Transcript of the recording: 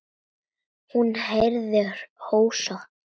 Hún heyrði hósta.